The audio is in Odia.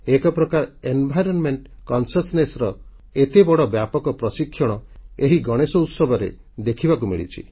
ଏକ ପ୍ରକାର ପରିବେଶ ସଚେତନତାର ଏତେ ବଡ଼ ବ୍ୟାପକ ପ୍ରଶିକ୍ଷଣ ଏହି ଗଣେଶୋତ୍ସବରେ ଦେଖିବାକୁ ମିଳିଛି